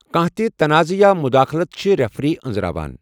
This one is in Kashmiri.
کانٛہہ تہِ تنازعہ یا مداخلت چھٗ ریفری ان٘زراوان ۔